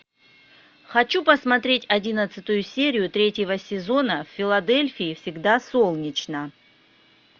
хочу посмотреть одиннадцатую серию третьего сезона в филадельфии всегда солнечно